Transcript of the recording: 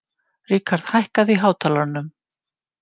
Rikharð, hækkaðu í hátalaranum.